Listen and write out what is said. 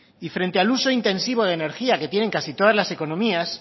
y frente al uso intensivo de energía que tienen casi todas las economías